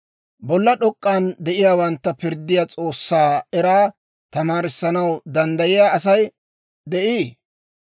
«Bolla d'ok'k'an de'iyaawantta pirddiyaa S'oossaa eraa tamaarissanaw danddayiyaa Asay de'ii?